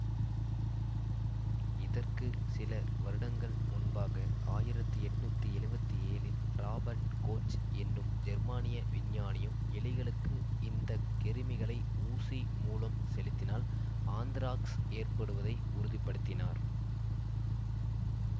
இதற்கு சில வருடங்கள் முன்பாக ஆயிரத்தி எட்நூத்தி எழுவத்தி ஏழில் ராபர்ட் கோச் எனும் ஜெர்மானிய விஞ்ஞானியும் எலிகளுக்கு இந்த கிருமிகளை ஊசி மூலம் செலுத்தினால் ஆந்த்ராக்ஸ் ஏற்படுவதை உறுதிப்படுத்தினார்